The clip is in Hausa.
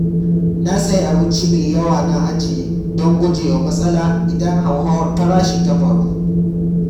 Na sayi abinci me yawa na ajiye don gujewa matsala idan hauhawar farashi ta faru.